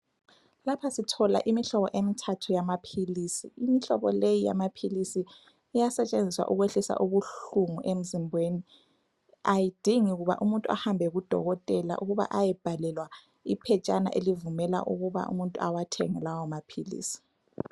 Lapha sithola imihlobo emithathu yamaphilisi, imihlobo leyi yamaphilisi iyasetshenziswa ukwehlisa ubuhlungu emzimbeni ayidingi kuba umuntu ahambe ku dokotela ukuba ayebhalelwa iphetshana ukuba umuntu awathenge lawa maphilisi.